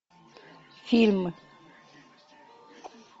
фильм